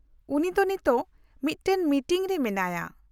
-ᱩᱱᱤ ᱫᱚ ᱱᱤᱛ ᱢᱤᱫᱴᱟᱝ ᱢᱤᱴᱤᱝ ᱨᱮ ᱢᱮᱱᱟᱭᱟ ᱾